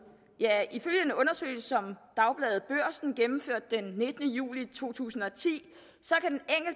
ja ifølge en undersøgelse som dagbladet børsen gennemførte den nittende juli to tusind og ti